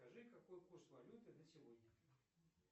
скажи какой курс валюты на сегодня